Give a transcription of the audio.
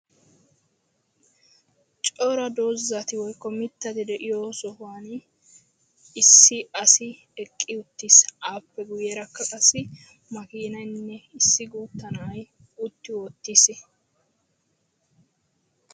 Cora doozati/mittati de'iyo sohuwan issi asi eqqi uttiis. Appe guyyeerakka qassi makiinaynne issi guutta na'ay utti wottiis.